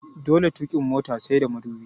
Dole tukin mota sai da mudubi